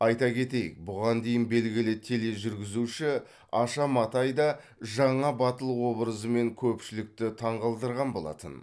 айта кетейік бұған дейін белгілі тележүргізуші аша матай да жаңа батыл образымен көпшілікті таңғалдырған болатын